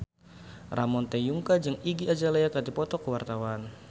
Ramon T. Yungka jeung Iggy Azalea keur dipoto ku wartawan